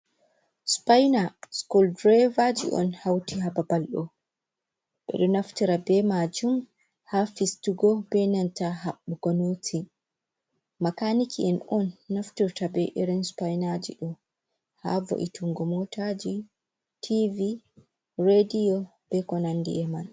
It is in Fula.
Spaina, skul draaivaaji on hauti ha babal ɗo, ɓe ɗo naftira be maajum ha fistugo be nanta haɓɓugo nooti, makaaniki en on naftirta be irin spainaaji ɗo ha wo’itingo mootaaji, tiivi, rediyo, be ko nandi e man.